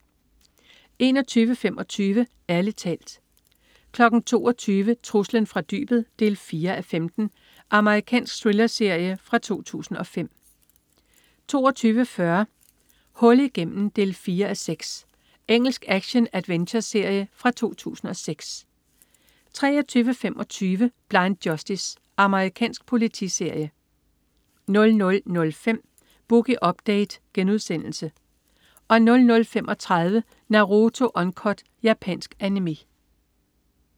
21.25 Ærlig talt 22.00 Truslen fra dybet 4:15. Amerikansk thrillerserie fra 2005 22.40 Hul igennem 4:6. Engelsk action-adventureserie fra 2006 23.25 Blind Justice. Amerikansk politiserie 00.05 Boogie Update* 00.35 Naruto Uncut. Japansk Animé